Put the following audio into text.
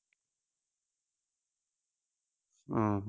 ਹਾਂ।